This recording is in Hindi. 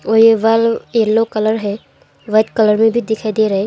और ये बल्ब येलो कलर है वाइट कलर में भी दिखाई दे रहा है।